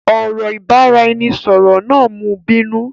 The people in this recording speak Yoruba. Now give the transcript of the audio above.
Ọ̀rọ̀ ìbáraẹnisọọ̀rọ̀ náà mú bínú.